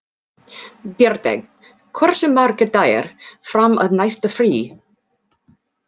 Bjarnveig, hversu margir dagar fram að næsta fríi?